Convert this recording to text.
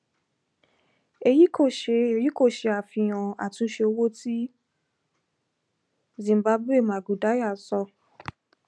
eyi ko ṣe eyi ko ṣe afihan atunṣe ti owo zimbabwe mangudya sọ